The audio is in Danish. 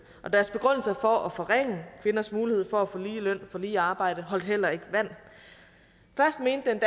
og deres begrundelse for at forringe kvinders mulighed for at få lige løn for lige arbejde holdt heller ikke vand først mente